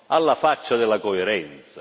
Alla faccia della coerenza.